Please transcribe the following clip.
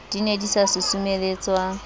di ne di sa susumeletswa